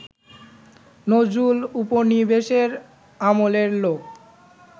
নজরুল উপনিবেশের আমলের লোক